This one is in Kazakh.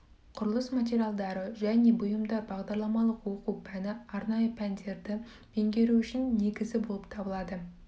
құрылыс материалдары және бұйымдар бағдарламалық оқу пәні арнайы пәндерді меңгеру үшін негізі болып табылады